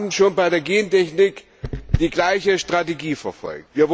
Wir haben schon bei der Gentechnik die gleiche Strategie verfolgt.